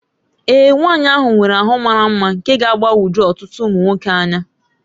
Ee, nwaanyị ahụ nwere ahụ mara mma nke ga-agbagwoju ọtụtụ ụmụ nwoke anya